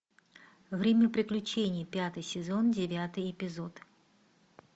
время приключений пятый сезон девятый эпизод